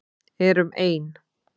Erum ein.